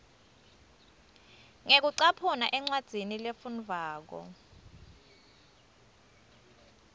ngekucaphuna encwadzini lefundvwako